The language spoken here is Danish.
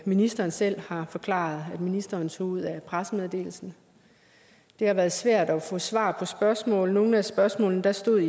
ministeren selv har forklaret at ministeren tog ud af pressemeddelelsen det har været svært at få svar på spørgsmål nogle af spørgsmålene stod